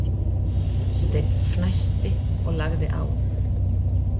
Steinn fnæsti og lagði á.